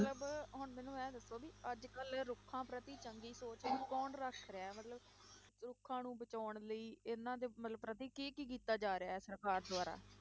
ਮਤਲਬ ਹੁਣ ਮੈਨੂੰ ਇਹ ਦੱਸੋ ਵੀ ਅੱਜ ਕੱਲ੍ਹ ਇਹ ਰੁੱਖਾਂ ਪ੍ਰਤੀ ਚੰਗੀ ਸੋਚ ਕੌਣ ਰੱਖ ਰਿਹਾ ਮਤਲਬ ਰੁੱਖਾਂ ਨੂੰ ਬਚਾਉਣ ਲਈ ਇਹਨਾਂ ਦੇ ਮਤਲਬ ਪ੍ਰਤੀ ਕੀ ਕੀ ਕੀਤਾ ਜਾ ਰਿਹਾ ਹੈ ਸਰਕਾਰ ਦੁਆਰਾ,